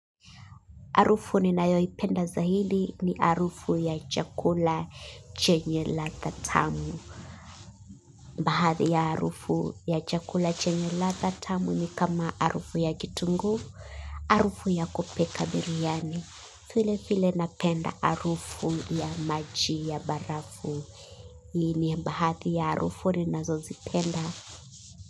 Harufu ninayoipenda zaidi ni harufu ya chakula chenye ladha tamu. Bahadhi ya harufu ya chakula chenye ladha tamu ni kama harufu ya kitunguu, harufu ya kupika biryani. File file napenda arufu ya maji ya barafu. Ni bahadhi ya harufu ninazozipenda.